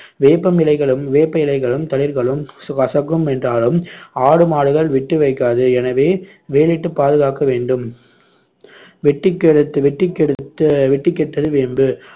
வேப்பம் இலைகளும் வேப்ப இலைகளும் தளிர்களும் கசக்கும் என்றாலும் ஆடு, மாடுகள் விட்டு வைக்காது எனவே வேலியிட்டு பாதுகாக்க வேண்டும் வெட்டி கெடுத்து வெட்டி கெடுத்து வெட்டிக் கெட்டது வேம்பு